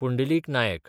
Pundalik Naik